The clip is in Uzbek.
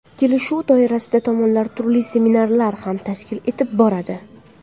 Kelishuv doirasida tomonlar turli seminarlar ham tashkil etib boradi.